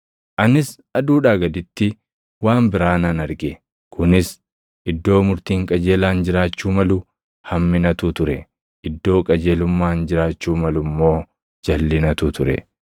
Anis aduudhaa gaditti waan biraa nan arge; kunis: Iddoo murtiin qajeelaan jiraachuu malu, hamminatu ture; iddoo qajeelummaan jiraachuu malu immoo jalʼinatu ture.